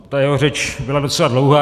Ta jeho řeč byla docela dlouhá.